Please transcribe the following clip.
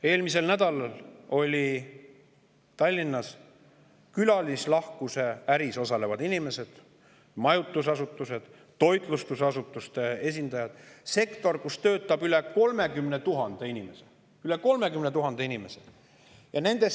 Eelmisel nädalal oli ka Tallinnas külalislahkuse äris osalevate inimeste, majutusasutuste ja toitlustusasutuste sektoris, kus töötab üle 30 000 inimese – üle 30 000 inimese!